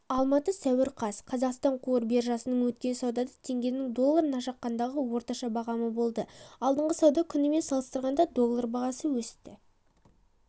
алматы сәуір қаз қазақстан қор биржасында өткен саудада теңгенің долларына шаққандағы орташа бағамы болды алдыңғы сауда күнімен салыстырғанда доллар бағасы өсті